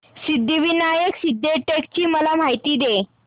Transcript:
सिद्धिविनायक सिद्धटेक ची मला माहिती दे